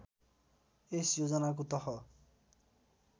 यस योजनाको तह